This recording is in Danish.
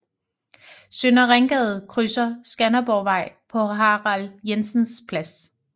Søndre Ringgade krydser Skanderborgvej på Harald Jensens Plads